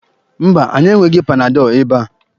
Mba, anyị enweghị panadọl ebe a.